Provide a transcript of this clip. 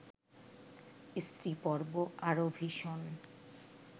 স্ত্রীপর্ব আরও ভীষণ